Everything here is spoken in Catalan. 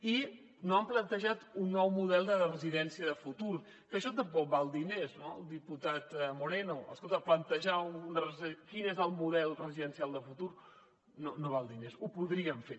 i no han plantejat un nou model de residència de futur que això tampoc val diners no diputat moreno escolta plantejar quin és el model residencial de futur no val diners ho podrien fer